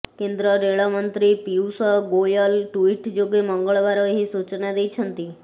କେନ୍ଦ୍ର ରେଳ ମନ୍ତ୍ରୀ ପୀୟୂଷ ଗୋୟଲ ଟୁଇଟ ଯୋଗେ ମଙ୍ଗଳବାର ଏହି ସୂଚନା ଦେଇଛନ୍ତି